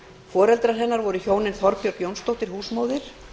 foreldrar hennar voru hjónin þorbjörg jónsdóttir húsmóðir